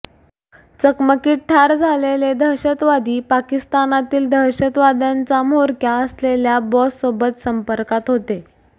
चकमकीत ठार झालेले दहशतवादी पाकिस्तानातील दहशतवाद्यांचा म्होरक्या असलेल्या बॉससोबत संपर्कात होते